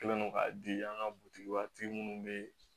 Kɛlen don ka di an ka butigi minnu bɛ